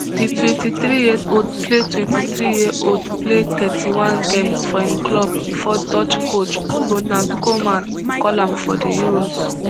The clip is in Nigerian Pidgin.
di twenty-three years old play twenty-three years old play thirty-one games for im club bifor dutch coach ronald koeman call am for di euros